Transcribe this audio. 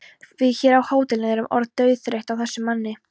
Við hér á hótelinu erum orðin dauðþreytt á þessum manni.